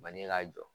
Bange ka jɔ